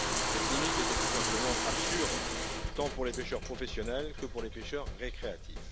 Cette limite était tout simplement absurde, tant pour les pêcheurs professionnels que pour les pêcheurs récréatifs.